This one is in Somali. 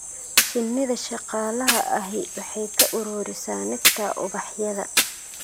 Shinnida shaqaalaha ahi waxay ka ururisaa nectar ubaxyada.